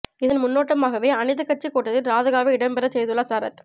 இதன் முன்னோட்டமாகவே அனைத்துக் கட்சிக் கூட்டத்தில் ராதிகாவை இடம் பெறச் செய்துள்ளார் சரத்